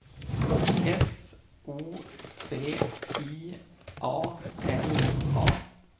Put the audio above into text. S O C I A L A